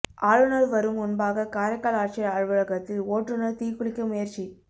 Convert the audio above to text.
ஆளுநர் வரும் முன்பாக காரைக்கால் ஆட்சியர் அலுவலகத்தில் ஓட்டுநர் தீக்குளிக்க முயற்சி